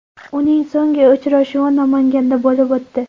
Uning so‘nggi uchrashuvi Namanganda bo‘lib o‘tdi.